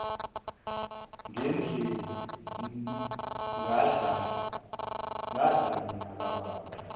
ngadla mina kababa